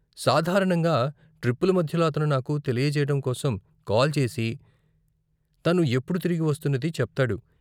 సాధారణంగా ట్రిప్పుల మధ్యలో అతను నాకు తెలియజేయడం కోసం కాల్ చేసి తను ఎప్పుడు తిరిగి వస్తున్నది చెప్తాడు.